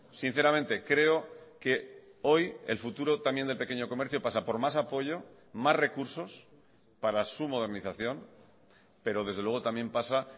sinceramente creo que hoy el futuro también del pequeño comercio pasa por más apoyo más recursos para su modernización pero desde luego también pasa